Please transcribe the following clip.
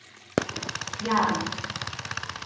Bjarg